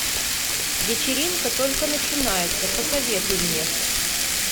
вечеринка только начинается посоветуй мне